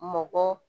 Mɔgɔ